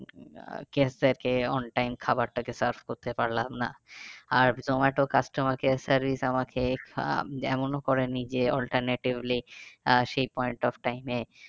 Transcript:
আহ guest দেরকে on time খাবারটাকে serve করে পারলাম না। আর জোমাটো customer care service আমাকে এমন করে নিজে alternatively আহ সেই point of time এ